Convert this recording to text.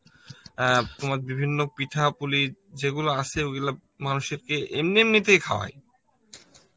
অ্যাঁ বিভিন্ন পিঠা পুলি, যেগুলো আসে ঐগুলো মানুষকে এমনি এমনিতেই খাওয়ায়